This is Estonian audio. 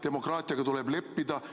Demokraatiaga tuleb leppida.